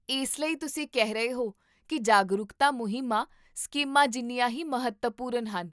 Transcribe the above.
ਇਸ ਲਈ, ਤੁਸੀਂ ਕਹਿ ਰਹੇ ਹੋ ਕੀ ਜਾਗਰੂਕਤਾ ਮੁਹਿੰਮਾਂ ਸਕੀਮਾਂ ਜਿੰਨੀਆਂ ਹੀ ਮਹੱਤਵਪੂਰਨ ਹਨ